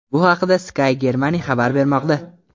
Bu haqda Sky Germany xabar bermoqda .